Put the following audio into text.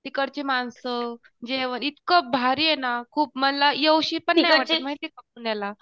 तिकडची माणसं जेवण इतकं भारी आहे ना, खूप मला येऊशी पण नाही वाटत माहिती का पुण्याला?